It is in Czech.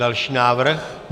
Další návrh.